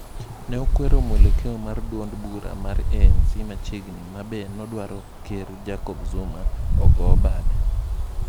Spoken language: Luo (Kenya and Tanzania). Ne okwero mwelekeo mar duond bura mar ANC machiegni ma be nodwaro ker Jacob Zouma ogoo bade.